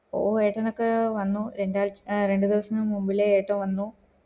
ഓഹ് ഏട്ടനൊക്കെ വന്നു രണ്ടാഴ്ച ആഹ് രണ്ട് ദിവസം മുന്നിലെ ഏട്ടൻ വന്നു